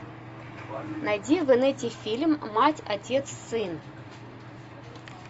найди в инете фильм мать отец сын